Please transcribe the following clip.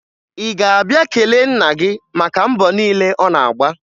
Ị ga-abịa kelee nna gị maka mbọ niile ọ na-agba?